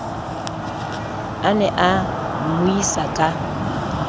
a ne a mmuisa ka